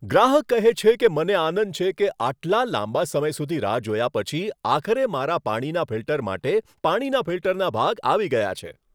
ગ્રાહક કહે છે કે, મને આનંદ છે કે આટલા લાંબા સમય સુધી રાહ જોયા પછી આખરે મારા પાણીના ફિલ્ટર માટે પાણીના ફિલ્ટરના ભાગ આવી ગયા છે.